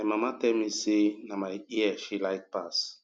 my mama tell me say na my ear she like pass